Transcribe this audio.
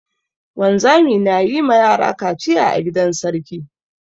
Wanzami na yi ma yara kaciya a gidan sarki.